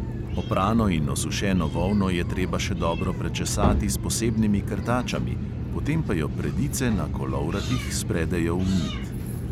Oprano in osušeno volno je treba še dobro prečesati s posebnimi krtačami, potem pa jo predice na kolovratih spredejo v nit.